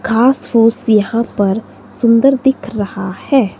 घास फूस यहां पर सुंदर दिख रहा है।